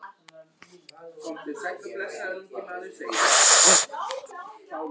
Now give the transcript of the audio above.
Frosti, hvernig verður veðrið á morgun?